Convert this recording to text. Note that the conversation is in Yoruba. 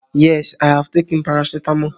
Yes, I have taken paracetamol